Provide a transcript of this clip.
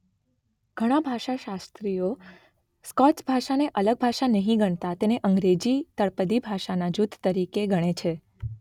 ઘણા ભાષાશાસ્ત્રીઓ સ્કોટ્સ ભાષાને અલગ ભાષા નહીં ગણતા તેને અંગ્રેજી તળપદી ભાષાનાં જૂથ તરીકે ગણે છે.